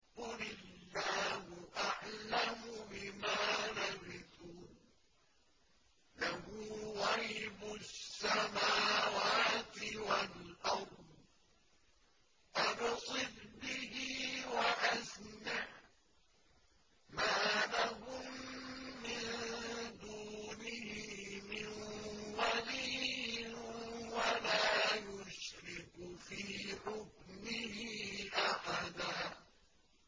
قُلِ اللَّهُ أَعْلَمُ بِمَا لَبِثُوا ۖ لَهُ غَيْبُ السَّمَاوَاتِ وَالْأَرْضِ ۖ أَبْصِرْ بِهِ وَأَسْمِعْ ۚ مَا لَهُم مِّن دُونِهِ مِن وَلِيٍّ وَلَا يُشْرِكُ فِي حُكْمِهِ أَحَدًا